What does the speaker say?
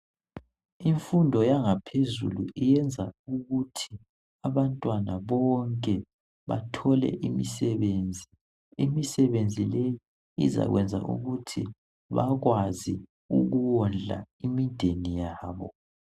Imfundo yangaphezulu iyenza abantwana bonke bathole imisebenzi. Imisebenzi leyi izakwenza ukuthi bakwazi ukuwondla imideni yabo.